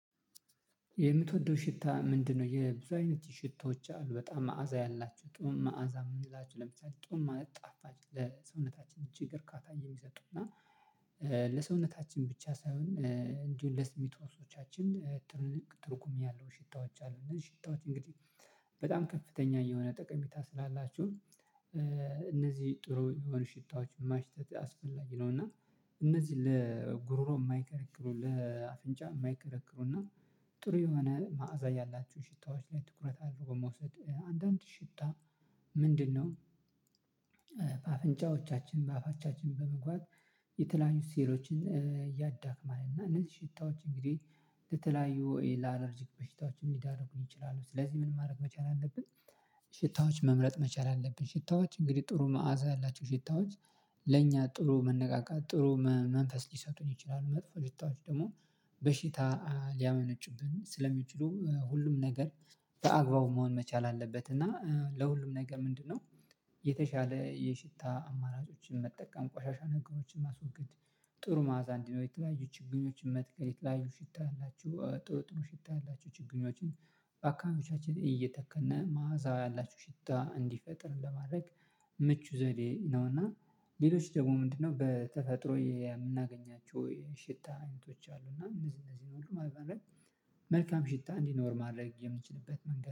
የምትወደው ሽታ ምንድነው? የብዙ አይነት ሽታዎች አሉ በጣም መዓዛ ያላችሁ ጥሩ መዓዛ ምንላችሁ ለምሳሌ ጥሩ ማለት ጣፋጭ ለሰውነታችን ችግር እርካታ የሚሰጡና ለሰውነታችን ብቻ ሳይሆን እንዲሁ ለስሜት ህዋሶቻችን ትልቅ ትርጉም ያለው ሽታዎች አሉን ሽታዎች እንግዲህ በጣም ከፍተኛ የሆነ ጠቀሜታ ስላላቸው እነዚህ ጥሩ የሆኑ ሽታዎች ማሽተት አስፈላጊ ነው። እና እነዚህ ለጉሮሮ የማይከረክሩ ለአፍንጫ የማይከረክሩ እና ጥሩ የሆነ መዓዛ ያላችሁ ሽታዎች ላይ ትኩረት አድርጎ መውሰድ አንዳንድ ሽታ ምንድነው? በአፍንጫዎቻችን በአፋቻችን በመግባት የተለያዩ ሴሎችን ያዳክማል እና እነዚህ ሽታዎች እንግዲህ በተለያዩ ለአላርጂክ በሽታዎችን ሊዳርጉኝ ይችላሉ። ስለዚህ ምን ማድረግ መቻል አለብን? ሽታዎች መምረጥ መቻል አለብን። ሽታዎች እንግዲህ ጥሩ መዓዛ አላቸው ሽታዎች ለኛ ጥሩ መነቃቃት ጥሩ መንፈስ ሊሰጡኝ ይችላሉ። መጥፎ ሽታዎች ደግሞ በሽታ ሊያመነጭብን ስለሚችሉ ሁሉም ነገር በአግባቡ መሆን መቻል አለበት። እና ለሁሉም ነገር ምንድነው? የተሻለ የሽታ አማራጮችን መጠቀም ቆሻሻ ነገሮችን ማስወገድ ጥሩ ማአዛ እንዲኖር የተለያዩ ችግኞችን መትከል የተለያዩ ሽታ ያላችሁ ጥሩ ጥሩ ሽታ ያላችሁ ችግኞችን አካባቢያችን እየተከልን መዓዛው ያላችሁ ሽታ እንዲፈጥር ለማድረግ ምቹ ዘዴ ነውና። ሌሎች ደግሞ ምንድነው? በተፈጥሮ የምናገኛቸው የሽታ አይነቶች አሉ እና እንደዚህ እንደዚህ ሁሉ በማድረግ መልካም ሽታ እንዲኖር ማድረግ የምንችልበት መንገድ